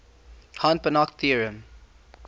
hahn banach theorem